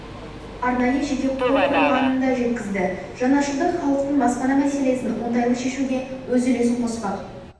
арнайы жеке қор құрылғанын да жеткізді жаңашылдық халықтың баспана мәселесін оңтайлы шешуге өз үлесін қоспақ